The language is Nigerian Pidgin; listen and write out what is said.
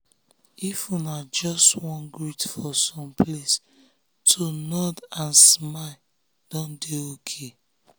if una just wan greet for some place to nod and smile don dey ok.